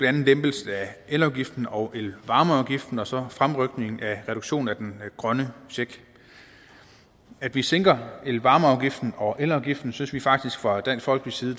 andet lempelsen af elafgiften og elvarmeafgiften og så fremrykningen af reduktionen af den grønne check at vi sænker elvarmeafgiften og elafgiften synes vi faktisk fra dansk folkepartis side